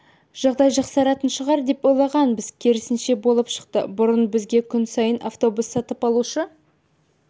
жағдай жақсаратын шығар деп ойлағанбыз керісінше болып шықты бұрын бізге күн сайын автобус сатып алушы